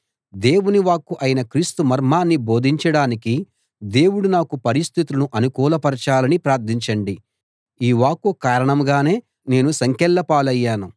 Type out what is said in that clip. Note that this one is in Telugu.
దేవుని వాక్కు అయిన క్రీస్తు మర్మాన్ని బోధించడానికి దేవుడు నాకు పరిస్థితులను అనుకూలపరచాలని ప్రార్ధించండి ఈ వాక్కు కారణంగానే నేను సంకెళ్ళ పాలయ్యాను